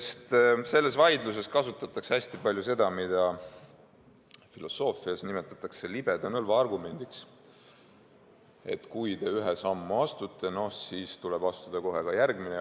Sest selles vaidluses kasutatakse hästi palju seda, mida filosoofias nimetatakse libeda nõlva argumendiks: kui te ühe sammu astute, siis tuleb astuda kohe ka järgmine.